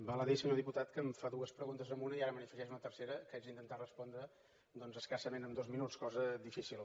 val a dir senyor diputat que em fa dues preguntes en una i ara me n’hi afegeix una tercera que haig d’intentar respondre amb escassament dos minuts cosa difícil